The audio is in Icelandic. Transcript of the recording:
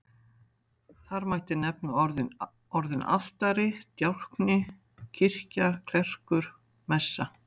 Þar mætti nefna orðin altari, djákni, kirkja, klerkur, messa.